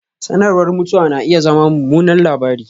Sanarwar mutuwa na iya zama mummunan labari